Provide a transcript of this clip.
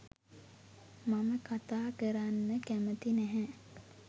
මම කතා කරන්න කැමැති නැහැ.